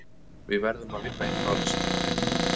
Við verðum að vinna eitthvað á þessu tímabili.